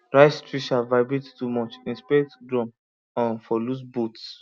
rice thresher vibrate too much inspect drum um for loose bolts